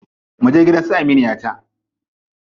Muje gidan su aminiyata.